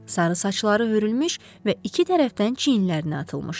Sarı saçları hörülmüş və iki tərəfdən çiyinlərinə atılmışdı.